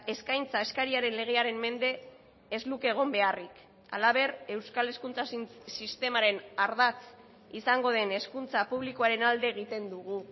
eskaintza eskariaren legearen mende ez luke egon beharrik halaber euskal hezkuntza sistemaren ardatz izango den hezkuntza publikoaren alde egiten dugu